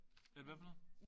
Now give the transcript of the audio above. Vent hvad for noget?